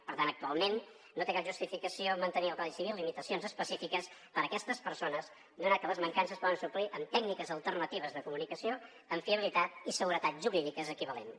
per tant actualment no té cap justificació mantenir al codi civil limitacions específiques per a aquestes persones donat que les mancances es poden suplir amb tècniques alternatives de comunicació amb fiabilitat i seguretat jurídiques equivalents